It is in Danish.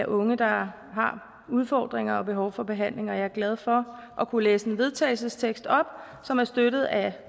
unge der har udfordringer og har behov for behandling og jeg er glad for at kunne læse en vedtagelsestekst op som er støttet af